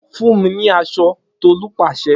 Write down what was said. Fun mi ni aso Tolu pase